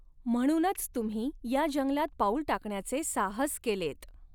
म्हणूनच तुम्ही या जंगलात पाऊल टाकण्याचे साहस केलेत.